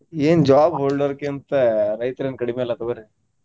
ಏನ್ job holder ಕ್ಕಿಂತಾ ರೈತ್ರೇನು ಕಡಿಮಿ ಅಲ್ಲಾ ತಗೋರಿ.